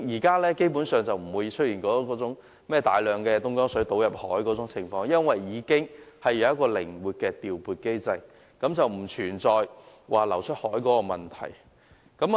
基本上，現時已不會出現有大量東江水倒入大海的情況，便是由於已有一個靈活調撥機制，是不再存在把食水流出大海的問題了。